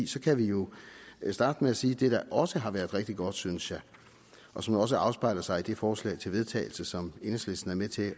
så kan vi jo starte med at sige det der også har været rigtig godt synes jeg og som også afspejler sig i det forslag til vedtagelse som enhedslisten er med til at